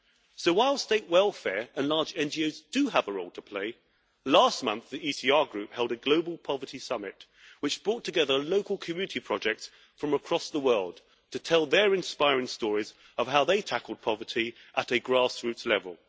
So while state welfare and large NGOs do have a role to play, last month the ECR Group held a global poverty summit which brought together local community projects from across the world to tell their inspiring stories of how they tackled poverty at a grass roots level.